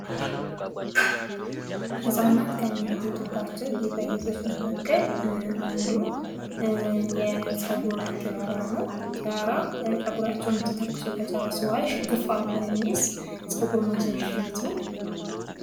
ህጻናት ከሚያጌጡባቸው ጌጣጌጦች መካከል የፀጉር ቲያራ ነው። ቲያራ ፀጉራቸውን ተተኲሶ ከጨረሱ በኋላ ሽክፍ አርጎ የሚይዝ ጸጉር ማሲያዛ አይነት ነው።